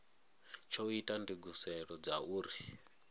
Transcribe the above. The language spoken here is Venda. tsho ita ndugiselo dza uri